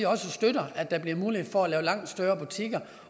støtter at der bliver mulighed for at lave langt større butikker